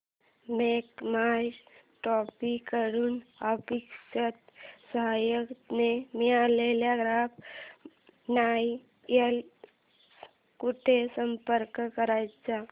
make My Trip कडून अपेक्षित सहाय्य न मिळाल्यास ग्राहक न्यायालयास कुठे संपर्क करायचा